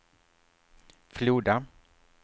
Floda